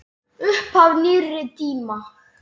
Upphaf nýrri tíma.